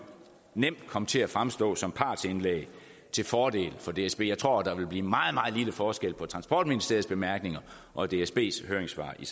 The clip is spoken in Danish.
komme til at fremstå som partsindlæg til fordel for dsb jeg tror at der ville blive meget meget lille forskel på transportministeriets bemærkninger og dsbs høringssvar i